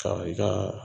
Ka i ka